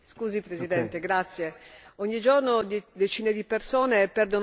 Ogni giorno decine di persone perdono la vita sulle strade italiane.